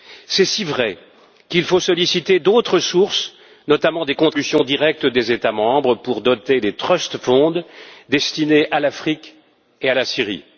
C'est si vrai qu'il faut solliciter d'autres sources, notamment des contributions directes des États membres pour doter des trust funds destinés à l'Afrique et à la Syrie.